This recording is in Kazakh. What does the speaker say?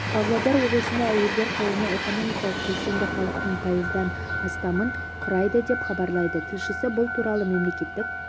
павлодар облысында әйелдер қауымы экономикалық белсенді халықтың пайыздан астамын құрайды деп хабарлайды тілшісі бұл туралы мемлекеттік